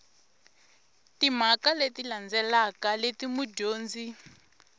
timhaka leti landzelaka leti mudyondzi